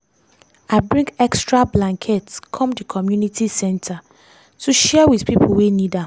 i bring extra blanket come di community center to share with pipo wey need am.